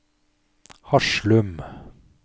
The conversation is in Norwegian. Haslum